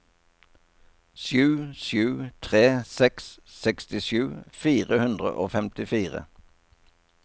sju sju tre seks sekstisju fire hundre og femtifire